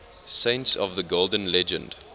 saints of the golden legend